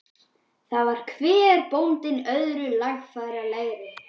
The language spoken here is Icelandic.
Þar var hver bóndinn öðrum larfalegri.